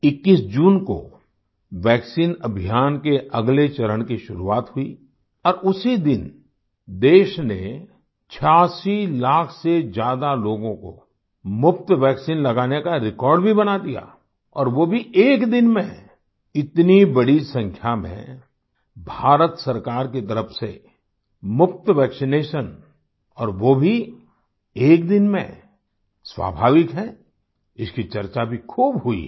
21 जून को वैक्सीन अभियान के अगले चरण की शुरुआत हुई और उसी दिन देश ने 86 लाख से ज्यादा लोगों को मुफ़्त वैक्सीन लगाने का रेकॉर्ड भी बना दिया और वो भी एक दिन में इतनी बड़ी संख्या में भारत सरकार की तरफ से मुफ़्त वैक्सिनेशन और वो भी एक दिन में स्वाभाविक है इसकी चर्चा भी खूब हुई है